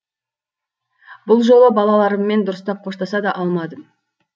бұл жолы балаларыммен дұрыстап қоштаса да алмадым